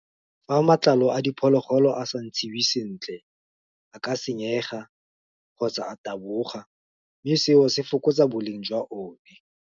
Fa matlalo a diphologolo a sa ntshiwe sentle, a ka senyega, kgotsa a taboga, mme seo se fokotsa boleng jwa one.